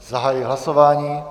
Zahajuji hlasování.